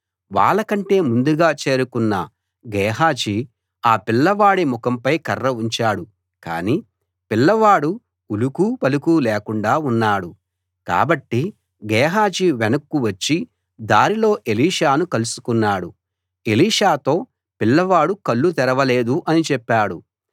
వాళ్ళ కంటే ముందుగా చేరుకున్న గేహజీ ఆ పిల్లవాడి ముఖంపై కర్ర ఉంచాడు కానీ పిల్లవాడు ఉలుకూ పలుకూ లేకుండా ఉన్నాడు కాబట్టి గేహజీ వెనక్కు వచ్చి దారిలో ఎలీషాను కలుసుకున్నాడు ఎలీషాతో పిల్లవాడు కళ్ళు తెరవలేదు అని చెప్పాడు